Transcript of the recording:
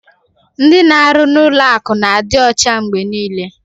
Ndị na-arụ n'ụlọ akụ na-adị ọcha mgbe niile.